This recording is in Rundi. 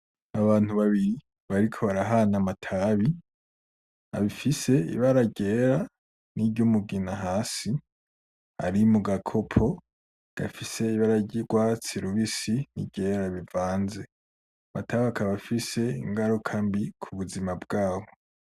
Abantu babiri bariko barahana amatabi afise ibara ryera n'iryumugina hasi ari mu gakopo gafise ibara ry'urwatsi rubisi n'iryera bivanze. Amatabi akaba afise ingaruka mbi kubuzima bwabo.